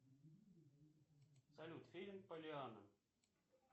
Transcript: салют фильм поллианна